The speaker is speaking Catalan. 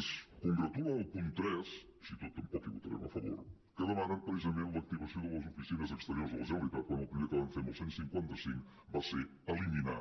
ens congratula el punt tres així i tot tampoc hi votarem a favor que demanen precisament l’activació de les oficines exteriors de la generalitat quan el primer que van fer amb el cent i cinquanta cinc va ser eliminar